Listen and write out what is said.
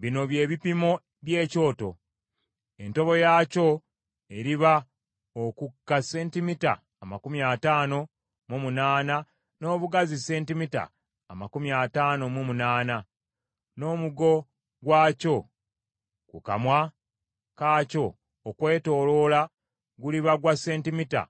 “Bino bye bipimo by’ekyoto: Entobo yaakyo eriba okukka sentimita amakumi ataano mu munaana n’obugazi sentimita amakumi ataano mu munaana, n’omugo gwakyo ku kamwa kaakyo okwetooloola guliba gwa sentimita